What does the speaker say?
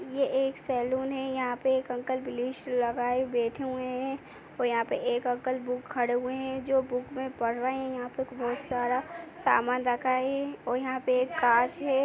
ये एक सेलून है यहाँ पे एक ब्लीच लगाए बैठे हुए हैं और यहाँ पे एक अंकल बुक खड़े हुए हैं जो बुक में पढ़ रहे हैं यहाँ पे बहोत सारा समान रखा है और यहाँ पे एक कांच है।